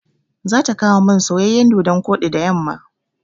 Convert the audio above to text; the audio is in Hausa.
Za ta kawomin soyayyan dodon koɗi da yamma.